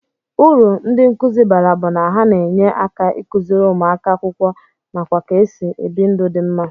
Uru ndi nkuzi bara bu na ha na enye aka ikụziri ụmụaka akwụkwọ nakwa ka esi ebi ndụ di mma.